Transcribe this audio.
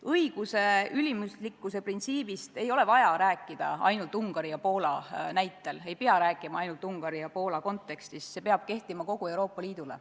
Õiguse ülimuslikkuse printsiibist ei ole vaja rääkida ainult Ungari ja Poola näitel, sellest ei pea rääkima ainult Ungari ja Poola kontekstis, see peab kehtima kogu Euroopa Liidus.